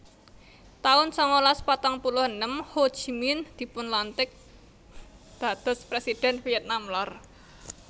taun sangalas patang puluh enem Ho Chi Minh dipunlantik dados Presidhèn Vietnam Lor